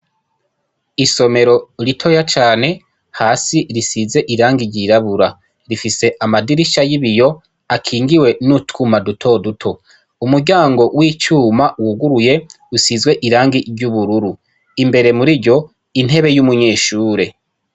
Isomero ritoya cane, hasi risiz' iirangi ryirabura, rifis' amadirisha yibiyo akingiwe n utwuma dutoduto, umuryango w icuma wuguruy'usizw' irangi ry ubururu, imbere muriryo intebe y umunyeshure.